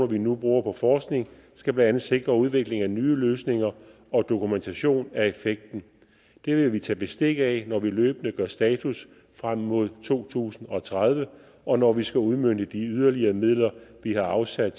vi nu bruger på forskning skal blandt andet sikre udvikling af nye løsninger og dokumentation af effekten det vil vi tage bestik af når vi løbende gør status frem mod to tusind og tredive og når vi skal udmønte de yderligere midler vi har afsat